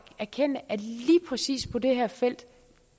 erkende at lige præcis på det her felt